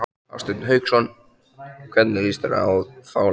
Hafsteinn Hauksson: Hvernig lýst þér á þá leið?